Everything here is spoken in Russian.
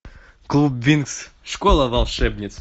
клуб винкс школа волшебниц